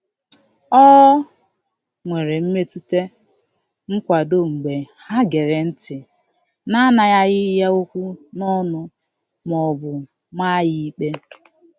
O nwere mmetụta nkwado mgbe ha gere ntị na-anaghara ya okwu n'ọnụ ma ọ bụ maa ya ikpe.